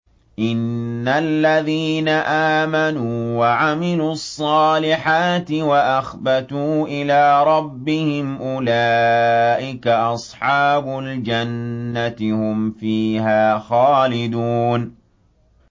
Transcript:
إِنَّ الَّذِينَ آمَنُوا وَعَمِلُوا الصَّالِحَاتِ وَأَخْبَتُوا إِلَىٰ رَبِّهِمْ أُولَٰئِكَ أَصْحَابُ الْجَنَّةِ ۖ هُمْ فِيهَا خَالِدُونَ